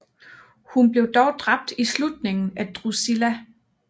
Hun bliver dog dræbt i slutningen af Drusilla